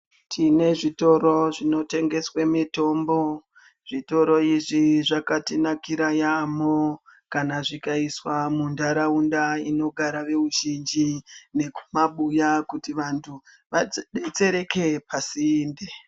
Tine zvitoro zvinotengeswe mitombo zvitoro izvi zvakatinakira yampho kana zvikaiswa muntaraunda inogara veruzhinji nekumabuya kuti vantu vadetsereke pasinde.